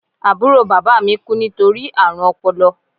Àbúrò bàbá mi kú nítorí àrùn ọpọlọ